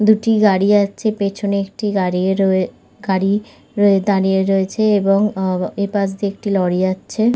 দুটি গাড়ি আছে পেছনে একটি গাড়ি রয়ে গাড়ি রয়ে দাঁড়িয়ে রয়েছে। এবং এ এপাশ দিয়ে একটি লরি যাচ্ছে--